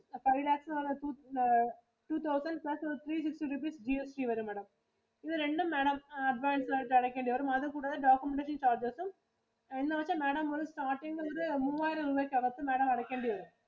Five lakhs എന്ന് പറയുന്നത് two thousand plus three fifty rupees GST വരും Madam. ഇത് രണ്ടും Madam advance ആയിട്ടു അടയ്‌ക്കേണ്ടി വരും. അത് കൂടാതെ documentation charges ഉം, എന്ന് വെച്ചാ Madam starting ഇല് ഒരു മൂവ്വായിരം രൂപയ്ക്കു അകത്തു Madam അടയ്‌ക്കേണ്ടി വരും.